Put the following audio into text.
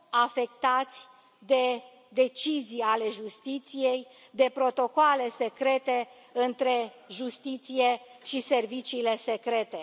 afectați de decizii ale justiției, de protocoale secrete între justiție și serviciile secrete.